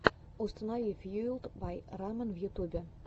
установи фьюэлд бай рамэн в ютубе